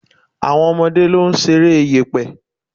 Àwọn ọmọdé ló ń ṣeré yẹ̀pẹ̀.